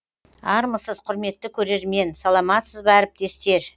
армысыз құрметті көрермен саламатсыз ба әріптестер